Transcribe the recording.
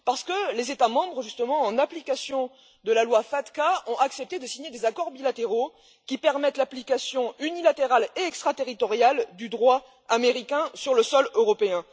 Parce que les États membres, justement, en application de la loi FATCA, ont accepté de signer des accords bilatéraux qui permettent l'application unilatérale et extraterritoriale du droit américain sur le sol européen.